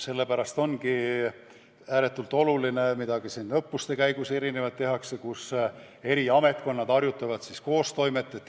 Sellepärast ongi ääretult oluline, et õppuste käigus eri ametkonnad harjutavad koos tegutsemist.